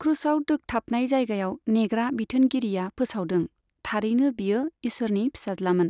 ख्रुसआव दोखथाबनाय जायगायाव नेग्रा बिथोनगिरिया फोसावदों, थारैनो बियो ईसोरनि फिसाज्लामोन!